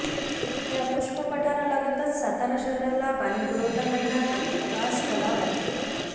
या पुष्प पठारालगतच सातारा शहराला पाणी पुरवठा करणारा कास तलाव आहे